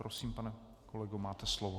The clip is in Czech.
Prosím, pane kolego, máte slovo.